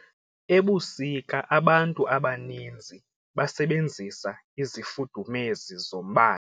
Ebusika abantu abaninzi basebenzisa izifudumezi zombane.